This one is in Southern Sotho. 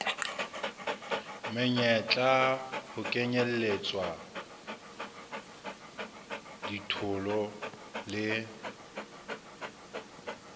meyetla ho kenyelletswa ditholo le